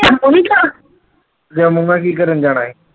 ਜੰਮੂ ਮੈ ਕੀ ਕਰਨ ਜਾਣਾ ਈ